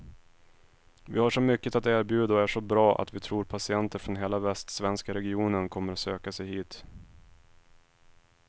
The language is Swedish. Vi har så mycket att erbjuda och är så bra att vi tror patienter från hela västsvenska regionen kommer söka sig hit.